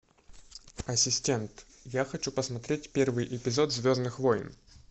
ассистент я хочу посмотреть первый эпизод звездных войн